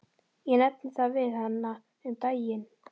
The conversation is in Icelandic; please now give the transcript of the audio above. Ég nefndi það við hana um daginn.